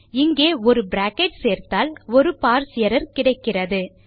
இங்கே ஒரு பிராக்கெட் சேர்த்தால் ஒரு பார்ஸ் எர்ரர் கிடைக்கிறது